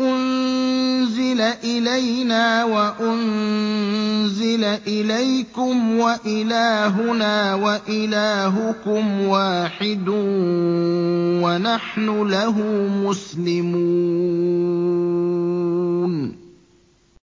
أُنزِلَ إِلَيْنَا وَأُنزِلَ إِلَيْكُمْ وَإِلَٰهُنَا وَإِلَٰهُكُمْ وَاحِدٌ وَنَحْنُ لَهُ مُسْلِمُونَ